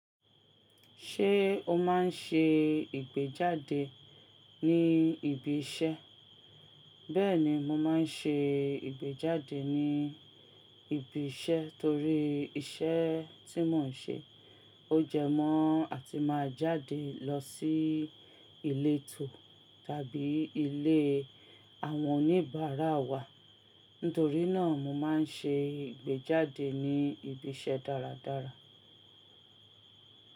Ṣé o máa ń ṣe ìgbéjáde ní ibi iṣẹ́? Bẹ́ẹ̀ni, mo máa ń ṣe ìgbéjáde ní ibi iṣẹ́ torí iṣẹ́ tí mò ń ṣe ó jẹ mọ́ àti máa jáde lọ sí ilétò tàbí ilé àwọn oníbàárà wa. Nítorí náà mo máa ń ṣe ìgbéjáde ní ibi iṣẹ́ dáradára.